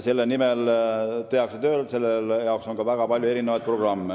Selle nimel tehakse tööd ja selle jaoks on ka väga palju programme.